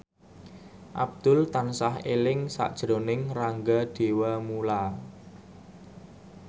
Abdul tansah eling sakjroning Rangga Dewamoela